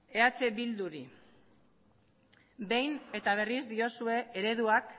eh bilduri behin eta berriro diozue ereduak